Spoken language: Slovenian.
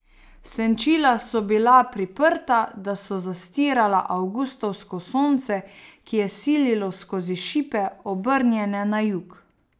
Senčila so bila priprta, da so zastirala avgustovsko sonce, ki je sililo skozi šipe, obrnjene na jug.